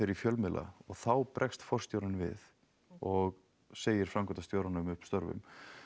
í fjölmiðla og þá bregst forstjórinn við og segir framkvæmdastjóranum upp störfum